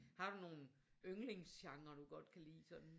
Har du nogle yndlingsgenrer du godt kan lide sådan?